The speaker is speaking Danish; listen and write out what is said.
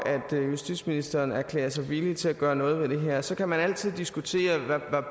justitsministeren erklærer sig villig til at gøre noget ved det her så kan man altid diskutere hvad